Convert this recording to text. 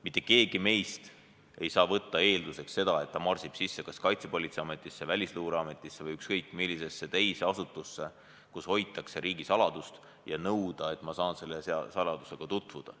Mitte keegi meist ei saa võtta eelduseks seda, et ta võib marssida sisse kas Kaitsepolitseiametisse, Välisluureametisse või ükskõik millisesse teise asutusse, kus hoitakse riigisaladust, ja nõuda, et ta saaks selle saladusega tutvuda.